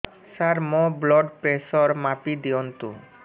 ସାର ମୋର blood pressure ମାପି ଦିଅନ୍ତୁ